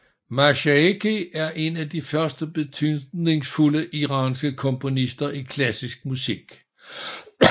Mashayekhi er en af de første betydningsfulde iranske komponister i klassisk musik